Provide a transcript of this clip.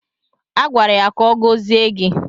A gwara ya ka ọ gọzie gị